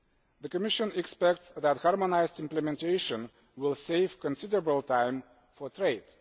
The Commission expects that harmonised implementation will save considerable time for trade.